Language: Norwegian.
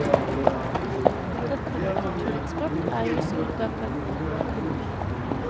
Dette med kultureksport er jo i skuddet akkurat nå. punktum